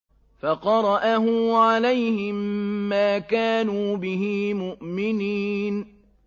فَقَرَأَهُ عَلَيْهِم مَّا كَانُوا بِهِ مُؤْمِنِينَ